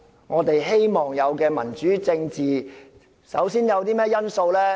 我們期望的民主政治，首要因素是甚麼？